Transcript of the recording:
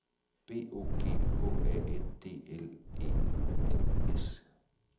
B O G H A N D L E N S